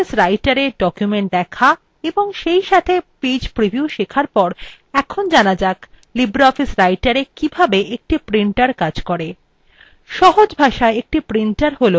libreoffice writera documents দেখা এবং সেইসাথে page preview শেখার পরে এখন জানা যাক libreoffice writera কিভাবে একটি printer page করে